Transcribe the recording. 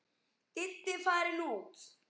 Diddi farinn út.